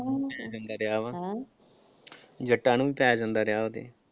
ਜੱਟਾਂ ਨੂੰ ਵੀ ਪਏ ਜਾਂਦਾ ਰਿਹਾ ਉਹ ਤੇ।